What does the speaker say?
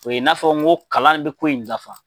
O ye n'a fɔ n ko kalan bɛ ko in nafa.